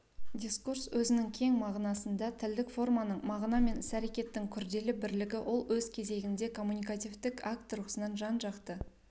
дискурс өзінің кең мағынасында тілдік форманың мағына мен ісәрекеттің күрделі бірлігі ол өз кезегінде коммуникативтік акт тұрғысынан жанжақты